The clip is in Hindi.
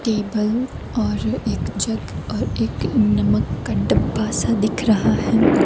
टेबल और एक जग और एक नमक का डब्बा सा दिख रहा है।